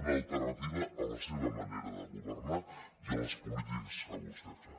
una alternativa a la seva manera de governar i a les polítiques que vostè fa